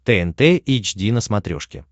тнт эйч ди на смотрешке